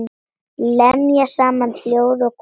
Lemja saman ljóð og kvæði.